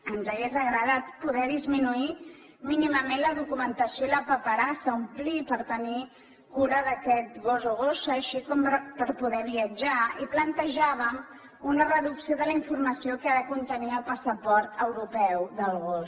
ens hauria agradat poder disminuir mínimament la documentació i la paperassa que cal omplir per tenir cura d’aquest gos o gossa així com per poder viatjar i plantejàvem una reducció de la informació que ha de contenir el passaport europeu del gos